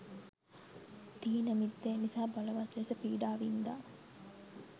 ථීනමිද්ධය නිසා බලවත් ලෙස පීඩා වින්දා.